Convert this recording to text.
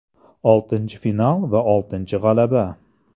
Oltinchi final va oltinchi g‘alaba.